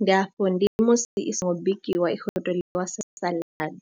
ndi afho ndi musi i songo bikiwa i khou tou ḽiwa sa saḽadi.